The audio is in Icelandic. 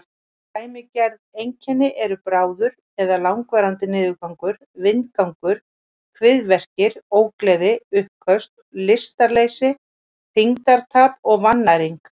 Dæmigerð einkenni eru bráður eða langvarandi niðurgangur, vindgangur, kviðverkir, ógleði, uppköst, lystarleysi, þyngdartap og vannæring.